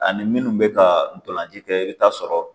Ani minnu bɛ ka dɔlanci kɛ i bɛ taa sɔrɔ